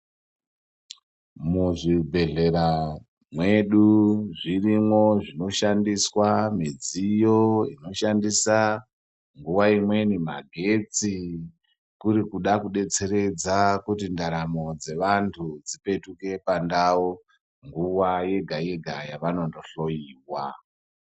Mu zvibhehlera mwedu zvirimwo zvino shandiswa midziyo ino shandisa nguva imweni magetsi kuri kuda kudetseredza kuti ndaramo dzevantu dzipetuke pandau nguva yega yega yavanondo hloyiwa.